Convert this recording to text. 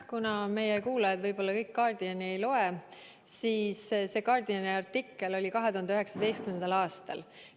Kuna võib-olla kõik meie kuulajad The Guardiani ei loe, siis täpsustan, et see artikkel ilmus 2019. aastal.